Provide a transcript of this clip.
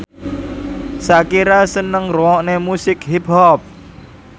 Shakira seneng ngrungokne musik hip hop